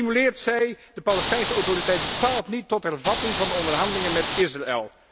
Zo stimuleert zij de Palestijnse Autoriteit bepaald niet tot hervatting van de onderhandelingen met Israël.